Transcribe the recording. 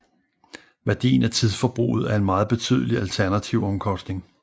Værdien af tidsforbruget er en meget betydelig alternativomkostning